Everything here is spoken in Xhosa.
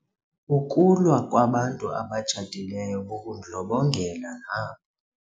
Ukulwa kwabantu abatshatileyo bubundlobongela nabo.